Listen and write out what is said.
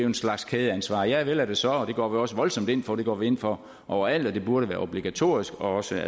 en slags kædeansvar ja vel er det så og det går vi også voldsomt ind for det går vi ind for over alt og det burde være obligatorisk også